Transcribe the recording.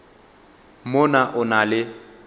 mo na o na le